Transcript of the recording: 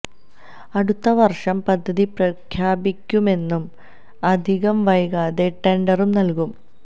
അടുത്ത വര്ഷം പദ്ധതി പ്രഖ്യാപിക്കുമെന്നും അധികം വൈകാതെ ടെണ്ടറും നല്കും